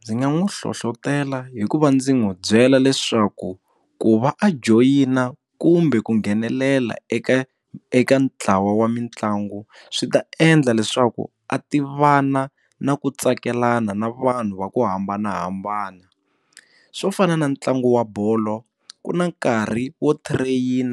Ndzi nga n'wi hlohlotela hikuva ndzi n'wi byela leswaku ku va a joyina kumbe ku nghenelela eka eka ntlawa wa mitlangu swi ta endla leswaku a tivana na ku tsakelana na vanhu va ku hambanahambana swo fana na ntlangu wa bolo ku na nkarhi wo train